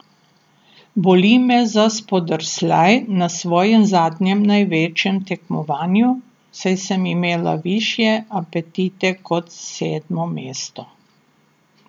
Boli me za spodrsljaj na svojem zadnjem največjem tekmovanju, saj sem imela višje apetite kot sedmo mesto.